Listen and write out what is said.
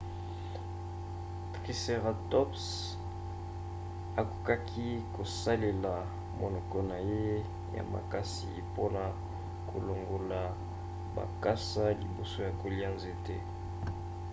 triceratops akokaki kosalela monoko na ye ya makasi mpona kolongola bakasa liboso ya kolia nzete